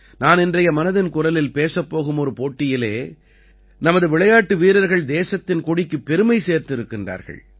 நான் இன்றைய மனதின் குரலில் பேசப் போகும் ஒரு போட்டியிலே நமது விளையாட்டு வீரர்கள் தேசத்தின் கொடிக்குப் பெருமை சேர்த்திருக்கிறார்கள்